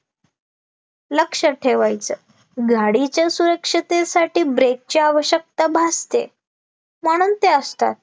लक्षात ठेवायचं गाडीच्या सुरक्षतेसाठी brake ची आवश्यकता भासते म्हणून ते असतात